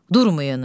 Durmayın.